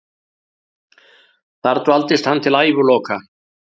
Þar dvaldist hann til æviloka.